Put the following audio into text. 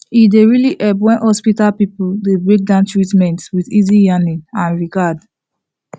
e dey really help when hospital people dey breakdown treatment with easy yarning and regard